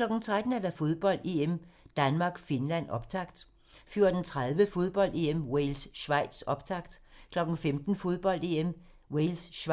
13:00: Fodbold: EM - Danmark-Finland, optakt 14:30: Fodbold: EM - Wales-Schweiz, optakt 15:00: Fodbold: EM - Wales-Schweiz